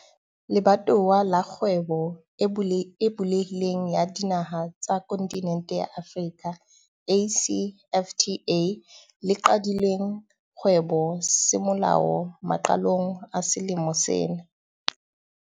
Le batowa la Kgwebo e Bulehi leng ya Dinaha tsa Kontinente ya Afrika, ACFTA, le qadileng kgwebo semolao maqalong a selemo sena.